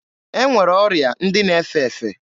E nwere ọrịa ndị na-efe efe.